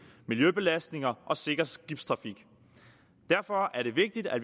miljøbelastninger og sikker skibstrafik derfor er det vigtigt at